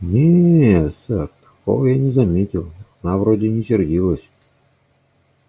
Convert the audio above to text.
не сэр такого я не заметил она вроде не сердилась